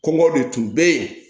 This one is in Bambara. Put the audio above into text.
Kɔngɔ de tun bɛ yen